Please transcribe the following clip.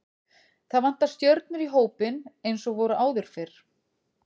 Það vantar stjörnur í hópinn eins og voru áður fyrr.